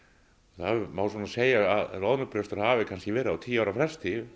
það má svona segja að loðnubrestur hafi kannski verið á tíu ára fresti